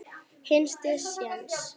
Hinsti sjens.